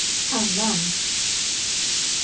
annan